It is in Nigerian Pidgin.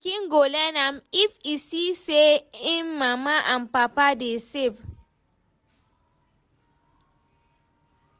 Pikin go learn am if e see say en mama and papa dey save.